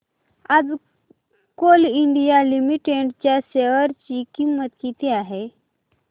आज Coal India Limited च्या share ची किंमत किती आहे